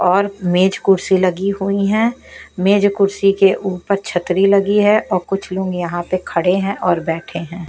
और मेज कुर्सी लगी हुई है। मेज कुर्सी के ऊपर छतरी लगी है और कुछ लोग यहां पर खड़े हैं और बैठे हैं।